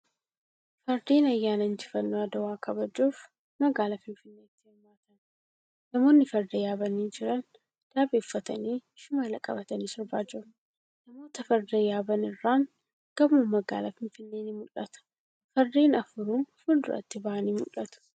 Fardeen ayyaana injifannoo adwaa kabajuuf magaalaa finfinneetti hirmaatan. Namoonni farda yaabanii jiran daabee uffatanii shimala qabatanii sirbaa jiru. Namoota farda yaaban irraan gamoon magaalaa Finfinnee ni mul'ata. Fardeen afuru fuulduratti ba'anii mul'atu.